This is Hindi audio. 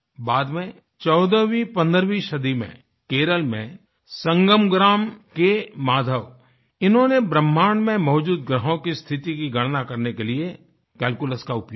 बाद में चौदहवींपंद्रहवीं सदी में केरल में संगम ग्राम के माधव इन्होंने ब्रहमाण्ड में मौजूद ग्रहों की स्थिति की गणना करने के लिए कैल्कुलस का उपयोग किया